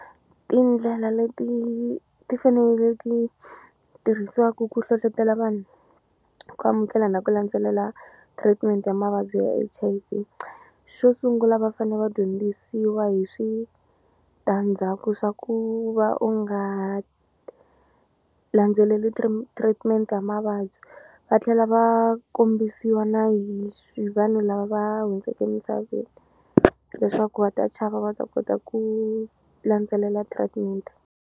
Tindlela leti ti fanele ti tirhisiwaku ku hlohlotelo vanhu ku amukela na ku landzelela treatment ya mavabyi ya H_I_V xo sungula va fane va dyondzisiwa hi switandzhaku swa ku va u nga landzeleli treatment-e ya mavabyi va tlhela va kombisiwa na hi vanhu lava hundzeke emisaveni leswaku va ta chava va ta kota ku landzelela treatment.